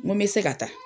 N ko n bɛ se ka taa